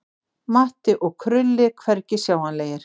Matti og Krulli hvergi sjáanlegir.